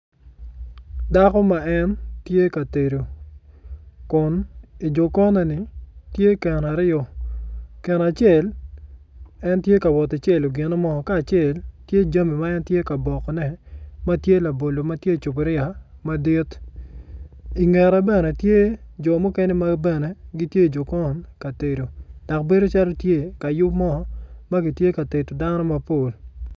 Dako ma en tye ka tedo kun i jokonne-ni tye keno aryo keno acel en tye ka wot ki celo gino mo ka acel tye jami ma en tye ka bokone ma tye labolo ma tye i cuboria madit i ngete bene tye jo mukene ma gin bene gitye ka tedo.